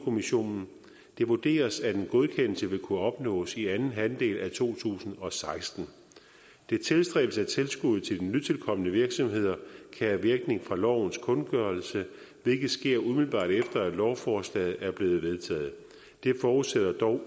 kommissionen og det vurderes at en godkendelse vil kunne opnås i anden halvdel af to tusind og seksten det tilstræbes at tilskuddet til de nytilkomne virksomheder kan have virkning fra lovens kundgørelse hvilket sker umiddelbart efter at lovforslaget er blevet vedtaget det forudsætter dog